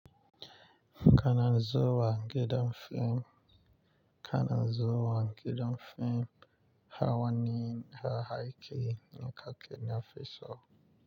Kanan zuwa gidan fim, kanan zuwa gidan fim, hawanin haraki yankake na faso.